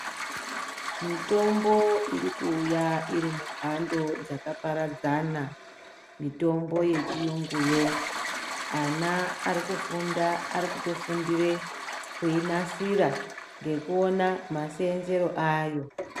Mitombo irikuuya iri mubhando dzakaparadzana mitombo yechiyunguyo ana arikufunda arikutofundire kuinasira ngekuona maseenzere ayo.